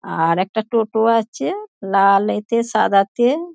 আ-আর একটা টোটো আছে লা লেতে সাদাতে।